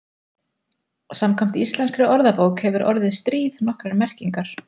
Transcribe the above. Samkvæmt íslenskri orðabók hefur orðið stríð nokkrar merkingar.